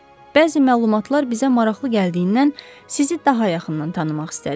Bəzi məlumatlar bizə maraqlı gəldiyindən sizi daha yaxından tanımaq istədik.